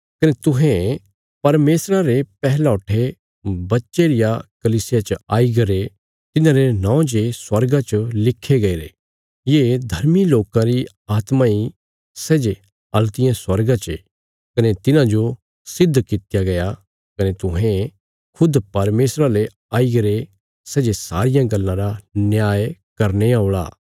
कने तुहें परमेशरा रे पैहलौठे बच्चे रिया कलीसिया च आईगरे तिन्हारे नौं जे स्वर्गा च लिखे गईरे ये धर्मी लोकां री आत्मा इ सै जे हल्तिये स्वर्गा चे कने तिन्हांजो सिद्ध कित्या गया कने तुहें खुद परमेशरा ले आईगरे सै जे सारियां गल्लां रा न्याय करने औल़ा